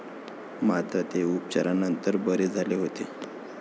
मात्र, ते उपचारानंतर बरे झाले होते.